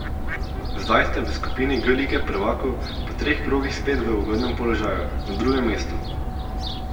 Zdaj ste v skupini G lige prvakov po treh krogih spet v ugodnem položaju, na drugem mestu.